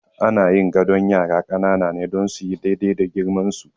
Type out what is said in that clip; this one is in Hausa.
Ana yin gadon yara ƙanana ne don suyi daidai da girmansu.